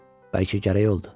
Bəlkə gərək oldu.